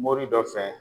Mori dɔ fɛ